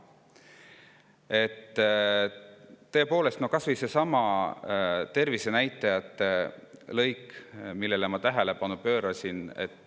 kas või seesama tervisenäitajate, millele ma tähelepanu pöörasin.